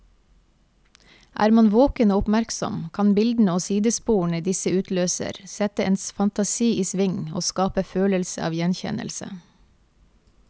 Er man våken og oppmerksom, kan bildene og sidesporene disse utløser, sette ens fantasi i sving og skape følelse av gjenkjennelse.